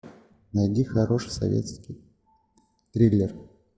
найди хороший советский триллер